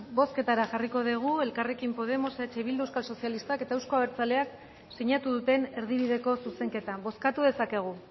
bozketara jarriko dugu elkarrekin podemos eh bildu euskal sozialistak eta euzko abertzaleak sinatu duten erdibideko zuzenketa bozkatu dezakegu